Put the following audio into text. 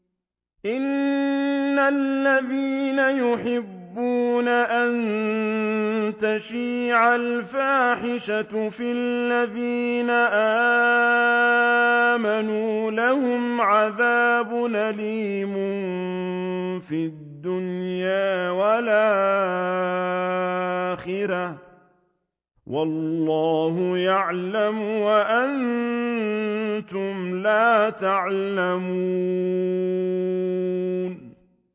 إِنَّ الَّذِينَ يُحِبُّونَ أَن تَشِيعَ الْفَاحِشَةُ فِي الَّذِينَ آمَنُوا لَهُمْ عَذَابٌ أَلِيمٌ فِي الدُّنْيَا وَالْآخِرَةِ ۚ وَاللَّهُ يَعْلَمُ وَأَنتُمْ لَا تَعْلَمُونَ